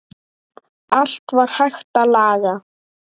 Allt var hægt að laga.